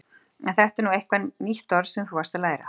Er þetta nú eitthvað nýtt orð sem þú varst að læra?